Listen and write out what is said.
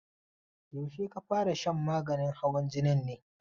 Yaushe ka fara shan maganin hawan jinin ne?